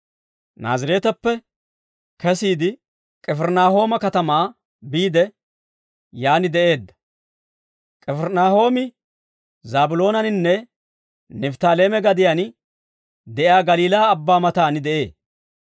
Naazireeteppe kesiide, K'ifirinaahooma katamaa biide, yaan de'eedda; K'ifirinaahoomi Zaabiloonaninne Nifttaaleeme gadiyaan de'iyaa Galiilaa abbaa mataan de'ee.